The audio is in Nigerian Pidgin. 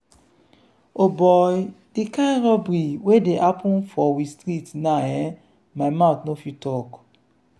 o boy! di kind robbery wey dey happen for we street now[um]my mouth no fit talk.